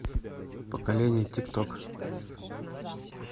поколение тик ток